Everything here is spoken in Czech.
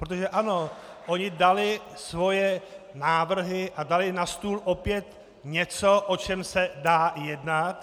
Protože ano, oni dali svoje návrhy a dali na stůl opět něco, o čem se dá jednat.